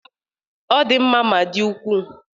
Ọ di mma ma dị ukwuu